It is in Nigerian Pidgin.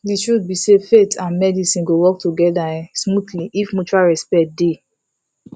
the truth be sayfaith and medicine go work together um smoothly if mutual respect dey